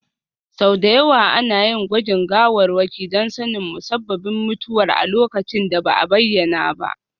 Sau da yawa ana yin gwajin gawarwaki don sanin musabbabin mutuwar a lokacin da ba a bayyana ba.